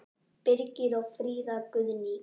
Birgir og Fríða Guðný.